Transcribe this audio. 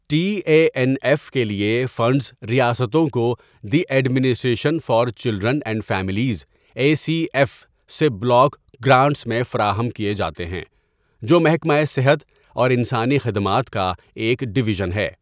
T A N F کے لیے funds ریاستوں کو دی administration for children and families A C F سے بلاک گرانٹس میں فراہم کیے جاتے ہیں، جو محکمہ صحت اور انسانی خدمات کا ایک ڈویژن ہے.